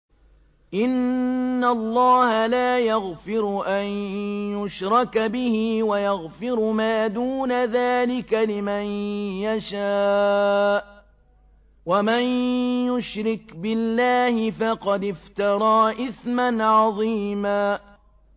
إِنَّ اللَّهَ لَا يَغْفِرُ أَن يُشْرَكَ بِهِ وَيَغْفِرُ مَا دُونَ ذَٰلِكَ لِمَن يَشَاءُ ۚ وَمَن يُشْرِكْ بِاللَّهِ فَقَدِ افْتَرَىٰ إِثْمًا عَظِيمًا